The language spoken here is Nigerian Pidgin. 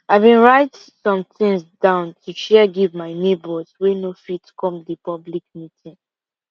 i been write somethings down to share give my neighbors wey no fit come the public meeting